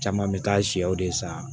Caman bɛ taa sɛw de san